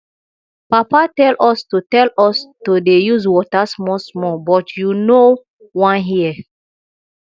papa tell us to tell us to dey use water small small but you know wan hear